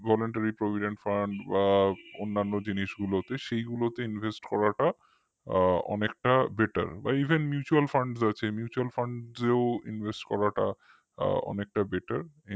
voluntaryprovidentfund বা অন্যান্য জিনিসগুলোতে সেই গুলোতে invest করাটা অনেকটা betterevenmutualfund আছে mutualfunds এও invest করাটা অনেকটা better